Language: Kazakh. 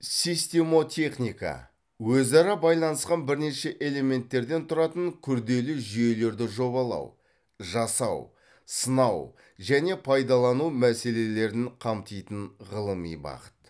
системотехника өзара байланысқан бірнеше элементтерден тұратын күрделі жүйелерді жобалау жасау сынау және пайдалану мәселелерін қамтитын ғылыми бағыт